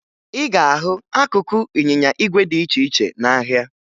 ị ga-ahụ akụkụ ịnyịnya igwe dị iche ihe n'ahịa